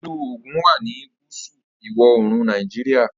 ilú Ogun wá ní gúúsù ìwọ̀-oòrùn Nàìjíríà